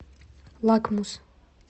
лакмусс